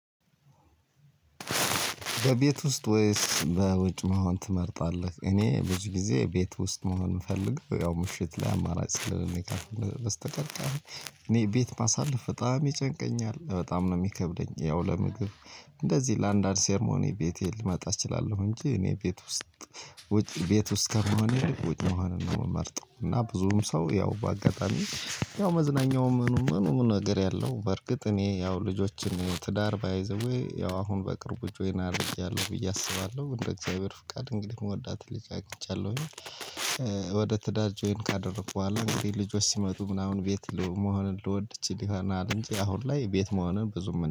በቤት ውስጥ ወይስ በውጭ መሆን ትመርጣለህ? እኔ ብዙ ጊዜ ቤት ውስጥ መሆን የምፈልግ ያው ምሽት ላይ አማራጭ ስለሌለኝ በስተቀር በስተቀር። እኔ ቤት ማሳለፍ በጣም ይጨንቀኛል በጣም ነው የሚከብደኝ። ያው ለምግብ እንደዚህ ለአንዳንድ ሴርሞኒ ቤቴ ልመጣ እችላለሁ። እንጂ እኔ ቤት ውስጥ ውጭ ቤት ውስጥ ከሆነ ውጭ መሆንን ነው የምመርጠው። እና ብዙም ሰው ያው በአጋጣሚ ያው መዝናኛው ምኑም ምኑም ነገር ያለው በርግጥ እኔ ያው ልጆችን ትዳር ባይ ዘ ዌይ ያው አሁን በቅርቡ ጆይን አድርጌያለሁ ብዬ አስባለሁ እንደ እግዚአብሔር ፍቃድ እንግዲህ የምወዳትን ልጅ አግኝቻለሁኝ። ወደ ትዳር ጆይን ካደረኩ በኋላ እንግዲህ ልጆች ሲመጡ ምናምን ቤት መሆንን ልወድ እችል ይሆናል እንጂ አሁን ላይ ቤት መሆንን ብዙም